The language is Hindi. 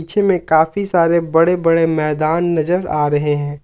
पीछे में काफी सारे बड़े बड़े मैदान नजर आ रहे हैं।